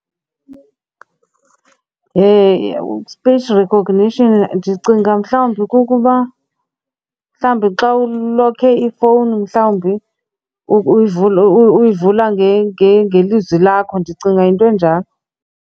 Face recognition, ndicinga mhlawumbi kukuba mhlawumbi xa ulokhe ifowuni mhlawumbi uyivula ngelizwi lakho. Ndicinga yinto enjalo.